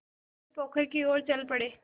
वे सीधे पोखर की ओर चल पड़े